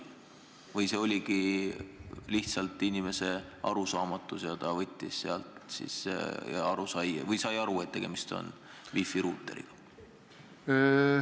Või tegu oli lihtsalt inimese vale arusaamisega ja ta sai aru, et tegemist on wifi ruuteriga?